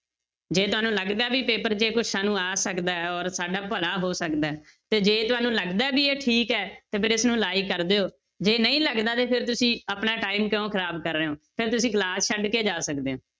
ਜੇ ਤੁਹਾਨੂੰ ਲੱਗਦਾ ਵੀ paper 'ਚ ਇਹ ਕੁਛ ਸਾਨੂੰ ਆ ਸਕਦਾ ਹੈ ਔਰ ਸਾਡਾ ਭਲਾ ਹੋ ਸਕਦਾ ਹੈ ਤੇ ਜੇ ਤੁਹਾਨੂੰ ਲੱਗਦਾ ਹੈ ਵੀ ਇਹ ਠੀਕ ਹੈ, ਤੇ ਫਿਰ ਇਸਨੂੰ like ਕਰ ਦਿਓ, ਜੇ ਨਹੀਂ ਲੱਗਦਾ ਤੇ ਫਿਰ ਤੁਸੀਂ ਆਪਣਾ time ਕਿਉਂ ਖ਼ਰਾਬ ਕਰ ਰਹੇ ਹੋ, ਫਿਰ ਤੁਸੀਂ class ਛੱਡ ਕੇ ਜਾ ਸਕਦੇ ਹੋ।